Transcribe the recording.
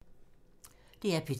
DR P2